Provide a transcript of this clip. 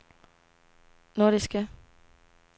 nordiske